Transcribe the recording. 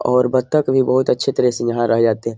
और बतख भी बोहोत अच्छे तरह से यहाँ रह जाते --